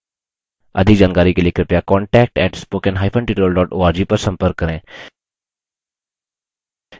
अधिक जानकारी के लिए कृपया contact @spoken hyphen tutorial dot org पर संपर्क करें